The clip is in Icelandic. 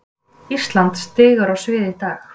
Ísland stígur á svið í dag